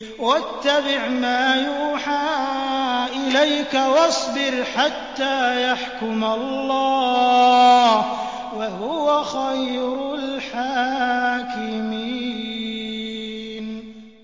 وَاتَّبِعْ مَا يُوحَىٰ إِلَيْكَ وَاصْبِرْ حَتَّىٰ يَحْكُمَ اللَّهُ ۚ وَهُوَ خَيْرُ الْحَاكِمِينَ